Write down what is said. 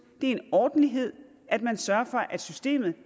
er en ordentlighed at man sørger for at systemet